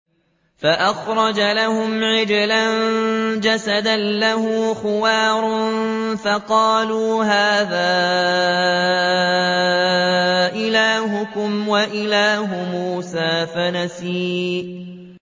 فَأَخْرَجَ لَهُمْ عِجْلًا جَسَدًا لَّهُ خُوَارٌ فَقَالُوا هَٰذَا إِلَٰهُكُمْ وَإِلَٰهُ مُوسَىٰ فَنَسِيَ